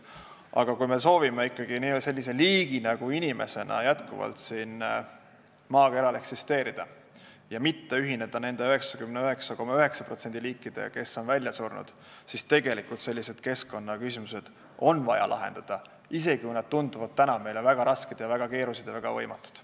Aga kui me soovime ikkagi sellise liigina nagu inimene jätkuvalt siin maakeral eksisteerida ja mitte ühineda 99,9% liikidega, kes on välja surnud, siis on vaja sellised keskkonnaküsimused lahendada, isegi kui nad tunduvad täna meile väga rasked, väga keerulised ja väga võimatud.